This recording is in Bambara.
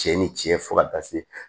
Cɛ ni cɛ fo ka taa se